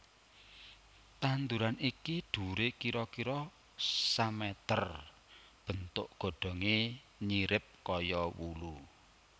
Tanduran iki dhuwure kira kira sameter bentuk godhonge nyirip kaya wulu